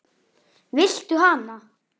Viltu hana?